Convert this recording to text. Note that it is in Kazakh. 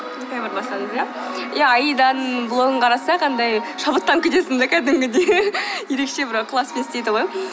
екі ай бұрын бастадыңыз иә иә аиданың блогын қарасақ андай шабыттанып кетесің де кәдімгідей ерекше бір ықыласпен істейді ғой